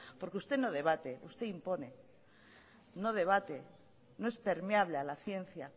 porque usted no debate usted impone no debate no es permeable a la ciencia